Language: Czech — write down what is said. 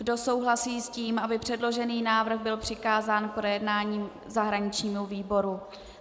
Kdo souhlasí s tím, aby předložený návrh byl přikázán k projednání zahraničnímu výboru?